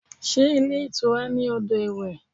Sé ilé ìtura ní odò iwẹ̀?